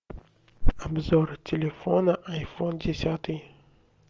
обзор телефона айфон десятый